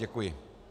Děkuji.